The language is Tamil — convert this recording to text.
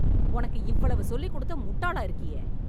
உனக்கு இவ்வளவு சொல்லிக் கொடுத்தும் முட்டாளா இருக்கியே